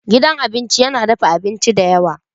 Gidan abinci yana dafa abinci da yawa.